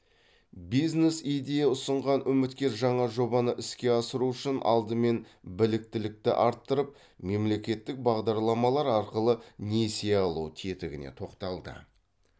бизнес идея ұсынған үміткер жаңа жобаны іске асыру үшін алдымен біліктілікті арттырып мемлекеттік бағдарламалар арқылы несие алу тетігіне тоқталды